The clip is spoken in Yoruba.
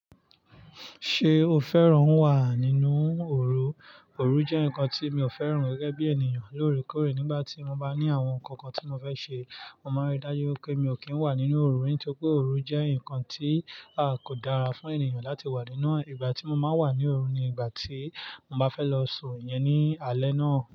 Ṣé o fẹ́ràn wà nínú òru? Òru jẹ́ nǹkan tí mi ò fẹ́ràn gẹ́gẹ́ bí ènìyàn. Lóòrèkóòrè, nígbà tí mo bá ní àwọn nǹkankan tí mo fẹ́ ṣe, mo máa rí dájú pé mi ò kí ń wà nínú òru, nítorí pé òru jẹ́ nǹkan tí a kò dára fún ènìyàn láti wà nínú. Ìgbàtí mo maa n wà ní òru ni ìgbàtí mo bá fẹ́ lọ sùn ìyẹn ni alẹ́ náà.